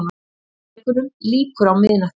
Tónleikunum lýkur á miðnætti